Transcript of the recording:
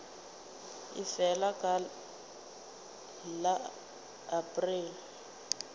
e felago ka la aprele